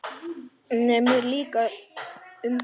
Mér líka um þig.